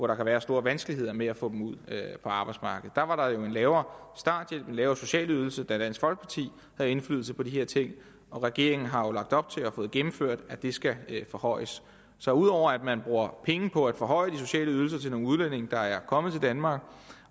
kan være store vanskeligheder med at få dem ud på arbejdsmarkedet der var der jo en lavere starthjælp en lavere social ydelse da dansk folkeparti havde indflydelse på de her ting og regeringen har jo lagt op til og fået gennemført at det skal forhøjes så ud over at man bruger penge på at forhøje de sociale ydelser til nogle udlændinge der er kommet til danmark